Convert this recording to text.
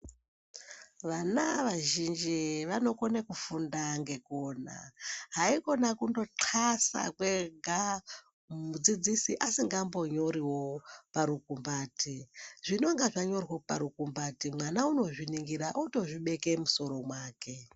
Vana vazhinji vanokone kufunda ngekuona. Haikona kundothasa kwega mudzidzisi asingambonyoriwo parukumbati. Zvinenge zvanyorwa parukumbati mwana unozvininhira otobeke mumusoro mwake.